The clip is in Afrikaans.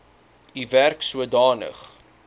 u werk sodanig